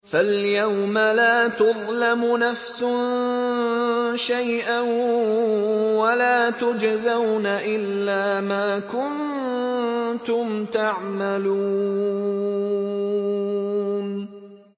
فَالْيَوْمَ لَا تُظْلَمُ نَفْسٌ شَيْئًا وَلَا تُجْزَوْنَ إِلَّا مَا كُنتُمْ تَعْمَلُونَ